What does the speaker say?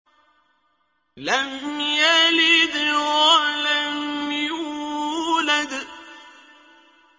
لَمْ يَلِدْ وَلَمْ يُولَدْ